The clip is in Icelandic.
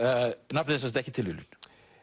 nafnið er sem sagt ekki tilviljun